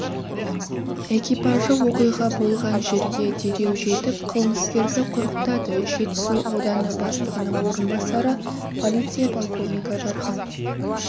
экипажы оқиға болған жерге дереу жетіп қылмыскерді құрықтады жетісу ауданы бастығының орынбасары полиция полковнигі дархан